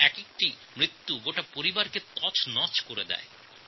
একটি মৃত্যু পুরো পরিবারকে ধ্বংস করে দিতে পারে